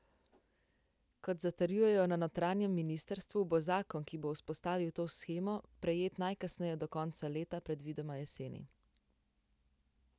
Kot zatrjujejo na notranjem ministrstvu, bo zakon, ki bo vzpostavil to shemo, sprejet najkasneje do konca leta, predvidoma jeseni.